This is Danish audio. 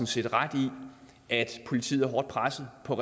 set ret i at politiet er hårdt presset på